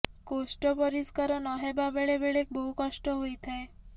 କୋଷ୍ଠ ପରିଷ୍କାର ନ ହେବା ବେଳେ ବେଳେ ବହୁ କଷ୍ଟ ହୋଇଥାଏ